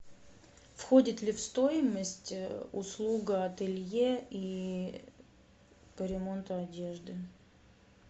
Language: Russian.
входит ли в стоимость услуга ателье и по ремонту одежды